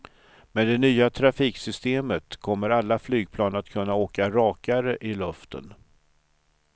Med det nya trafiksystemet kommer alla flygplan att kunna åka rakare i luften.